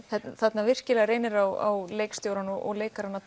þarna virkilega reynir á leikstjórann og leikarana